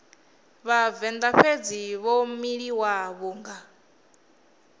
vhavenḓa fhedzi vho miliwa vhunga